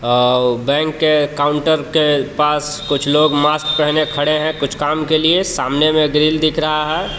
और बैंक के काउंटर के पास कुछ लोग मास्क पहने खड़े हैं कुछ काम के लिए सामने में ग्रिल दिख रहा है।